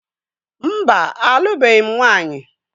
Mba, alụbeghị m nwanyị.